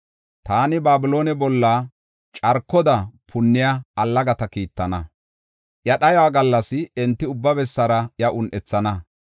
Taani Babiloone bolla carkoda punniya allagata kiittana. Iya dhayuwa gallas enti ubba bessara iya un7ethana.